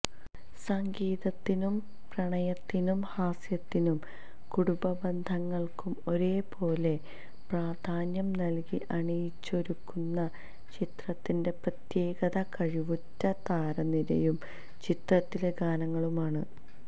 സംഗീതത്തിനും പ്രണയത്തിനും ഹാസ്യത്തിനും കുടുംബബന്ധങ്ങള്ക്കും ഒരേപോലെ പ്രാധാന്യം നല്കി അണിയിച്ചൊരുക്കുന്ന ചിത്രത്തിന്റെ പ്രത്യേകത കഴിവുറ്റ താരനിരയും ചിത്രത്തിലെ ഗാനങ്ങളുമാണ്